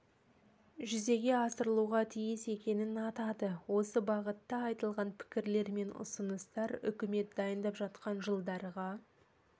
жүзеге асырылуға тиіс екенін атады осы бағытта айтылған пікірлер мен ұсыныстар үкімет дайындап жатқан жылдарға